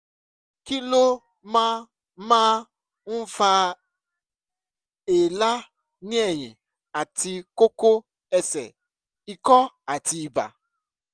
kí ló máa máa ń fa èélá ní ẹ̀yìn àti kókó ẹsẹ ikọ́ àti ibà?